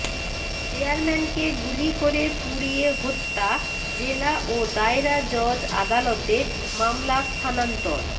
চেয়ারম্যানকে গুলি করে পুড়িয়ে হত্যা জেলা ও দায়রা জজ আদালতে মামলা স্থানান্তর